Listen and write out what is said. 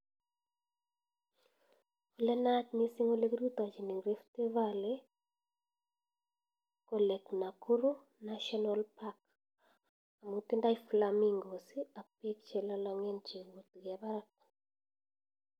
Lenayat mising olekirutochin en Rift valley ko lake Nakuru National park akotindoi flamingos ak bek chelolongen chebwanen Barak